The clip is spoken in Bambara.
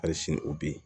Hali sini u bɛ yen